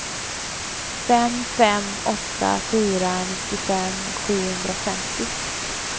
fem fem åtta fyra nittiofem sjuhundrafemtio